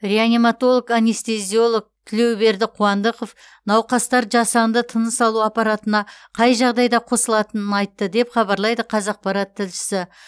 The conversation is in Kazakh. реаниматолог анестезиолог тілеуберді қуандықов науқастар жасанды тыныс алу аппаратына қай жағдайда қосылатынын айтты деп хабарлайды қазақпарат тілшісі